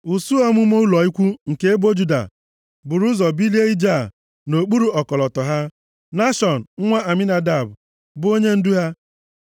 Usuu ọmụma ụlọ ikwu nke ebo Juda buru ụzọ bulie ije a, nʼokpuru ọkọlọtọ ha. Nashọn, nwa Aminadab, bụ onyendu ha.